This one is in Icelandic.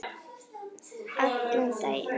Allan daginn.